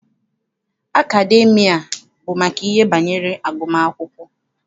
Akademịa bụ maka ihe banyere agụmakwụkwọ.